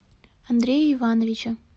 андрея ивановича